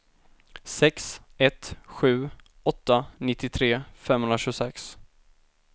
sex ett sju åtta nittiotre femhundratjugosex